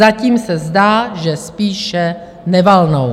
Zatím se zdá, že spíše nevalnou.